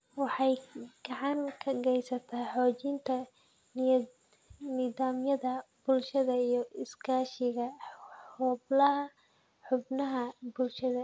Waxay gacan ka geysataa xoojinta nidaamyada bulshada iyo iskaashiga xubnaha bulshada.